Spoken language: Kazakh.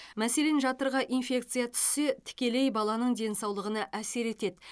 мәселен жатырға инфекция түссе тікелей баланың денсаулығына әсер етеді